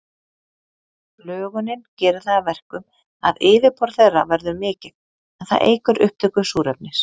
Lögunin gerir það að verkum að yfirborð þeirra verður mikið, en það eykur upptöku súrefnis.